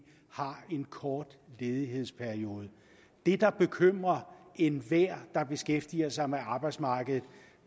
har en kort ledighedsperiode det der bekymrer enhver der beskæftiger sig med arbejdsmarkedet